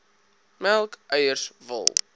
melk eiers wol